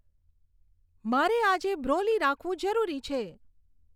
મારે આજે બ્રોલી રાખવું જરૂરી છે